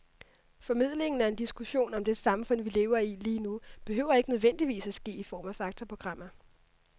Formidlingen af en diskussion om det samfund, vi lever i lige nu, behøver ikke nødvendigvis at ske i form af faktaprogrammer.